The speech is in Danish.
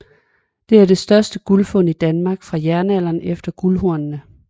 Det er det største guldfund fra Danmark fra jernalderen efter guldhornene